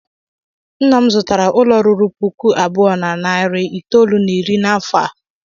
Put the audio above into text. Nna m zụtaara ụlọ ruru puku abụọ na narị itoolu na iri n'afọ a.